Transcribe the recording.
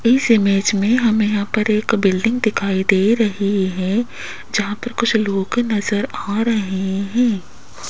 इस इमेज में हमें यहां पर एक बिल्डिंग दिखाई दे रही है जहां पर कुछ लोग नजर आ रहे हैं।